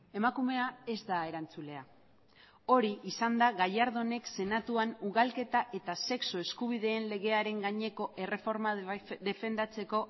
emakumea ez da erantzulea hori izan da gallardónek senatuan ugalketa eta sexu eskubideen legearen gaineko erreforma defendatzeko